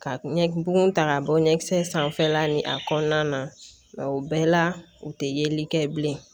Ka ɲɛ bugun ta k'a bɔ ɲɛkisɛ sanfɛla ni a kɔnɔna na o bɛɛ la u te yeli kɛ bilen